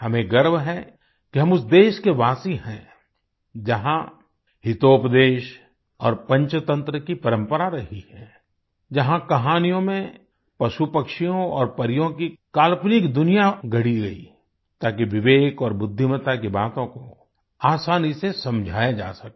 हमें गर्व है कि हम उस देश के वासी है जहाँ हितोपदेश और पंचतंत्र की परंपरा रही है जहाँ कहानियों में पशुपक्षियों और परियों की काल्पनिक दुनिया गढ़ी गयी ताकि विवेक और बुद्धिमता की बातों को आसानी से समझाया जा सके